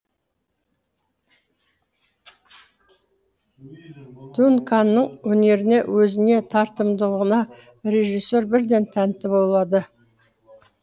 дунканның өнеріне өзіне тартымдылығына режиссер бірден тәнті болады